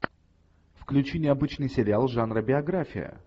включи необычный сериал жанра биография